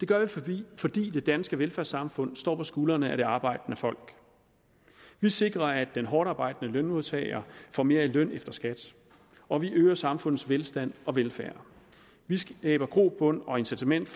det gør vi fordi det danske velfærdssamfund står på skuldrene af det arbejdende folk vi sikrer at den hårdtarbejdende lønmodtager får mere i løn efter skat og vi øger samfundets velstand og velfærd vi skaber grobund og incitament